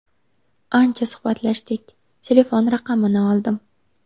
Ancha suhbatlashdik, telefon raqamini oldim.